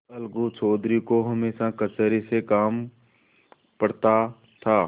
अलगू चौधरी को हमेशा कचहरी से काम पड़ता था